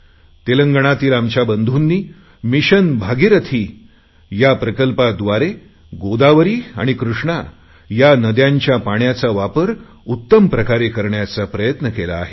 तेलंगणातील आमच्या बंधूनी मिशन भागिरथी या प्रकल्पाद्वारे गोदावरी आणि कृष्णा या नद्यांच्या पाण्याचा वापर उत्तम प्रकारे करण्याचा प्रयत्न केला आहे